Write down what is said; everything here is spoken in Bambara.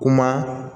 Kuma